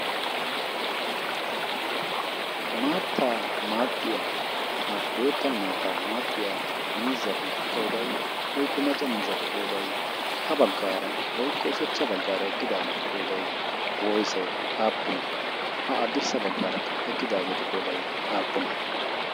Maattaa maaxxiyaa ha bootta maataa maaxxiyaa miizatu qooday woykko macca miizzatu qooday ha baggaara woykko oshachcha baggaara eqqidaageetu qoodai woyse aappunee? Haddirssa baggaarakka eqqidaageetu qooday aappunee?